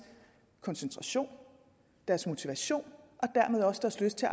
koncentration deres motivation og dermed også deres lyst til